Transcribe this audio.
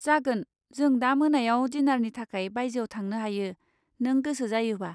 जागोन, जों दा मोनायाव डिनारनि थाखाय बायजोआव थांनो हायो, नो गोसो जायोबा।